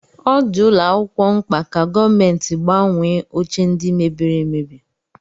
Ọ dị ụlọ akwụkwọ mkpa ka gọọmenti gbanwee oche ndi mebiri emebi